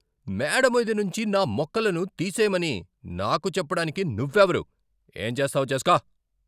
మేడ మీద నుంచి నా మొక్కలను తీసేయమని నాకు చెప్పడానికి నువ్వెవరు? ఏం చేస్తావో చేసుకో?